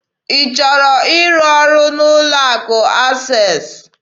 Ị chọrọ ịrụ ọrụ n'ụlọ akụ Access?